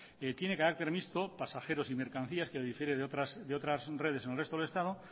tiene carácter mixto pasajeros y mercancías que lo difiere de otras redes en el resto del estado